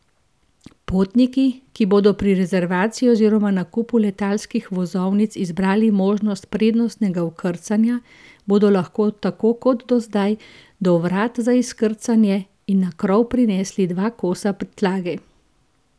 Potniki, ki bodo pri rezervaciji oziroma nakupu letalskih vozovnic izbrali možnost prednostnega vkrcanja, bodo lahko tako kot do zdaj do vrat za izkrcanje in na krov prinesli dva kosa prtljage.